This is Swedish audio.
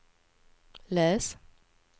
läs